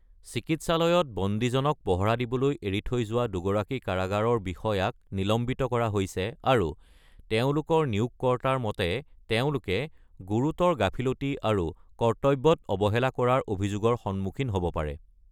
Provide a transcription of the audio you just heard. চিকিৎসালয়ত বন্দীজনক পহৰা দিবলৈ এৰি থৈ যোৱা দুগৰাকী কাৰাগাৰৰ বিষয়াক নিলম্বিত কৰা হৈছে আৰু তেওঁলোকৰ নিয়োগকৰ্তাৰ মতে তেওঁলোকে “গুৰুতৰ গাফিলতি আৰু কৰ্তব্যত অৱহেলা কৰাৰ অভিযোগৰ সন্মুখীন হ’ব পাৰে।”